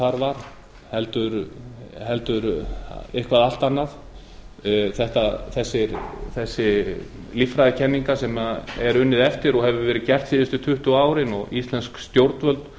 þar var á ferðum heldur eitthvað allt annað þessar líffræðikenningar sem er unnið eftir og hefur verið gert síðustu tuttugu árin og íslensk stjórnvöld